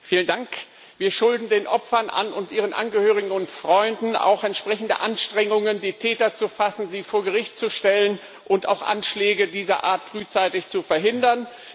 Frau Präsidentin! Wir schulden den Opfern und ihren Angehörigen und Freunden auch entsprechende Anstrengungen, die Täter zu fassen, sie vor Gericht zu stellen und auch Anschläge dieser Art frühzeitig zu verhindern.